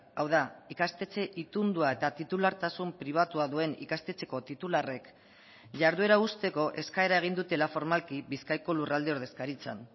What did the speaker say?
hau da ikastetxe itundua eta titulartasun pribatua duen ikastetxeko titularrek jarduera uzteko eskaera egin dutela formalki bizkaiko lurralde ordezkaritzan